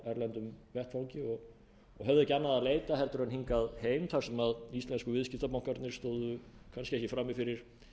erlendum vettvangi og höfðu ekki annað að leita heldur en hingað heim þar sem íslensku viðskiptabankarnir stóðu kannski ekki frammi fyrir